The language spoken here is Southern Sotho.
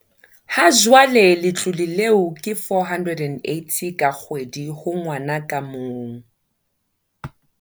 Ha jwale letlole leo ke R480 ka kgwedi ho ngwana ka mong.